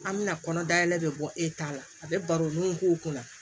An bɛna kɔnɔ dayɛlɛ bɛ bɔ e ta la a bɛ baro n'u k'o kɔnɔ